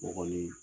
O kɔni